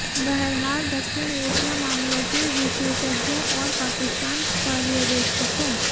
बहरहाल दक्षिण एशिया मामलों के विशेषज्ञों और पाकिस्तान पर्यवेक्षकों